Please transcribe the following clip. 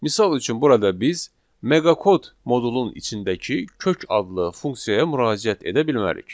Misal üçün burada biz meqa kod modulun içindəki kök adlı funksiyaya müraciət edə bilmərik.